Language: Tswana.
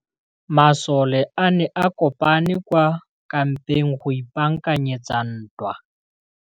Masole a ne a kopane kwa kampeng go ipaakanyetsa ntwa.